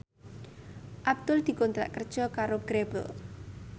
Abdul dikontrak kerja karo Grebel